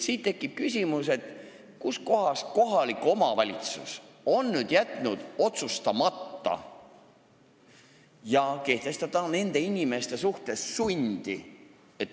Siit tekib küsimus, kus kohas on kohalik omavalitsus jätnud otsustamata ja kehtestamata nende inimeste suhtes sunni.